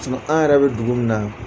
An yɛrɛ bɛ dugu min na